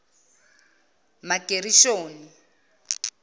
magerishoni